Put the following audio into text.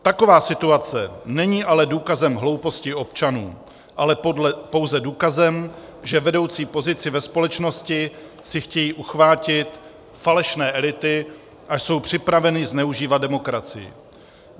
Taková situace není ale důkazem hlouposti občanů, ale pouze důkazem, že vedoucí pozici ve společnosti si chtějí uchvátit falešné elity a jsou připraveny zneužívat demokracii.